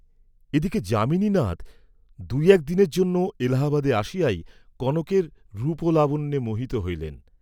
এদিকে যামিনীনাথ দুই এক দিনের জন্য এলাহাবাদে আসিয়াই কনকের রূপলাবণ্যে মোহিত হইলেন।